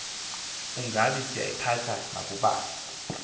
ungabi sayiphatha nakubani